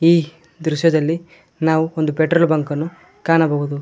ಈ ದೃಶ್ಯದಲ್ಲಿ ನಾವು ಒಂದು ಪೆಟ್ರೋಲ್ ಬಂಕ್ ಅನ್ನು ಕಾಣಬಹುದು.